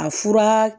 A fura